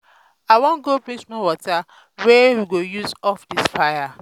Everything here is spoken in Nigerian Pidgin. i wan go bring small water wey we go use off dis fire.